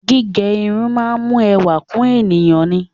Gígẹ irun máa ń mú ẹwà kún èèyàn ni.